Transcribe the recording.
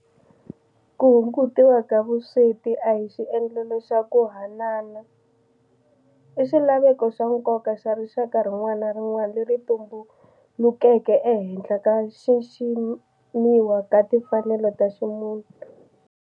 Ku hungutiwa ka vusweti a hi xiendlo xa ku hanana. I xilaveko xa nkoka xa rixaka rin'wana na rin'wana leri tumbulukeke ehenhla ka xiximiwa ka timfanelo ta ximunhu.